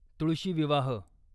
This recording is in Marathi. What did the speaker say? तुळशी विवाह